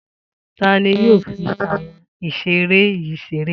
Ta ni yóò fi àwọn ìṣeré yìí ṣeré?